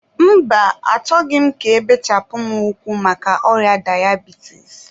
mba, achọghị m ka ebechapụ mụ ụkwụ maka ọrịa dayabitis.